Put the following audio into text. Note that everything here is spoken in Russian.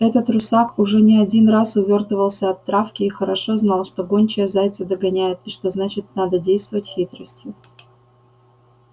этот русак уже не один раз увёртывался от травки и хорошо знал что гончая зайца догоняет и что значит надо действовать хитростью